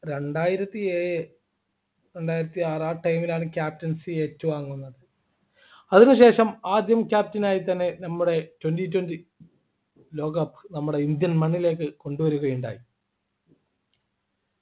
രണ്ടായിരത്തിഏഴ് രണ്ടായിരത്തി ആറ് ആ time ൽ ആണ് Captaincy ഏറ്റുവാങ്ങുന്നത് അതിനുശേഷം ആദ്യം Captain ആയി തന്നെ നമ്മുടെ Twenty twenty ലോകകപ്പ് നമ്മുടെ indian മണ്ണിലേക്ക് കൊണ്ടുവരികയുണ്ടായി